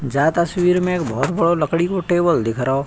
जा तस्बीर में एक बहोत बडो लकड़ी को टेबल दिख रहो।